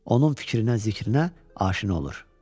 Onun fikrinə, zikrinə aşina olur.